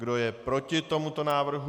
Kdo je proti tomuto návrhu?